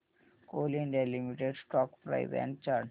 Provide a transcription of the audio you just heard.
Coal India Limited stock price and chart